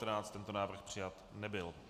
Tento návrh přijat nebyl.